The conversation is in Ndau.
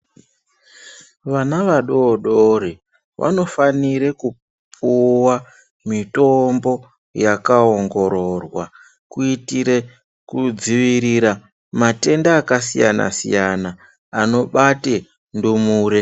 Vana vadodori vanofanire kupuwa mitombo yakaongororwa kuitire kudzivirira matenda akasiyana siyana anobate ndimure.